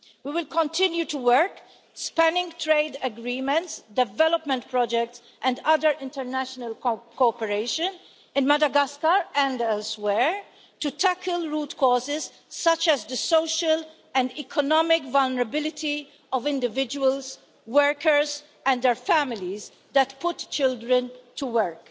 We will continue to work spanning trade agreements, development projects and other international cooperation, in Madagascar and elsewhere, to tackle root causes such as the social and economic vulnerability of individuals, workers and their families that put children to work.